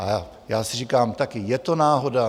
A já si říkám taky, je to náhoda?